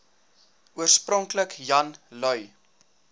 oorspronklik jan lui